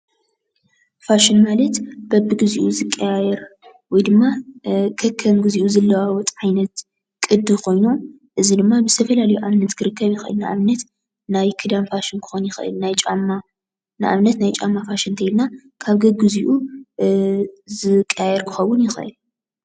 ፋሽን ማለት በቢግዚኡ ዝቀያየር ወይ ድማ ከከም ግዚኡ ዝለዋወጥ ዓይነት ቅዲ ኮይኑ፣ እዚ ድማ ብዝተፈላለዩ ኣብነት ክርከብ ይክል እዩ። ንኣብነት ናይ ኽዳን ፋሽን ኽከውን ይኽእል፣ ናይ ጫማ ንኣብነት ናይ ጫማ ፋሽን እንተይልና ካብ ገግዚኡ ዝቀያየር ክኸውን ይክእል።